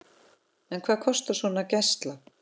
En hvað kostar svona gæsla?